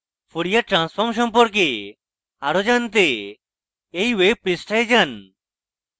fourier transform সম্পর্কে আরো জানতে এই ওয়েব পৃষ্ঠায় যান